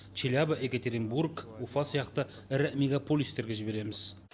челябі екатеринбург уфа сияқты ірі мегаполистерге жібереміз